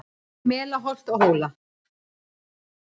Yfir mela holt og hóla